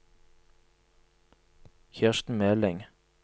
Kirsten Meling